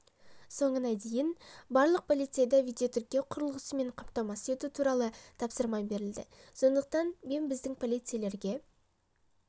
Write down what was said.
соңына дейін барлық полицейді видеотіркеу құрылғысымен қамтамасыз ету туралы тапсырма берілді сондықтан мен біздің полицейлерге